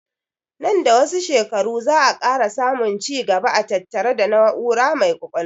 Nan da wasu shekaru za 'a ƙara samun ci gaba a tattare da na'ura mai ƙwaƙwalwa